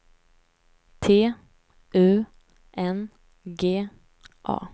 T U N G A